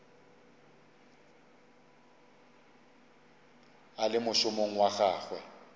a le mošomong wa gagwe